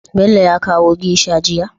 Bello ya kawo geisha jiya?